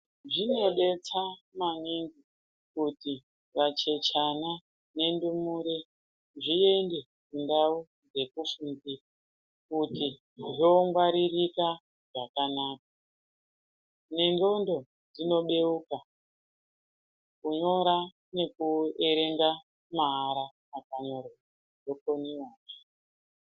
Zvinobetsera maningi kuti vacheche ana ne ndumure zviende ndau dzekufundira kuti dzongwaririka zvakanaka nendxondo dzinobeuka kunyora nekuerenga ma ara akanyorwa dzokona...